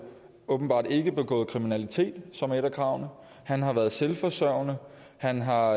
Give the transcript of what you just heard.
åbenbart ikke begået kriminalitet som er et af kravene han har været selvforsørgende og han har